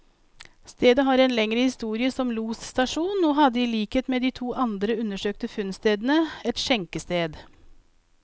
Stedet har en lengre historie som losstasjon, og hadde i likhet med de to andre undersøkte funnstedene, et skjenkested.